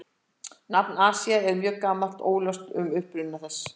Nafnið Asía er mjög gamalt og óljóst um uppruna þess.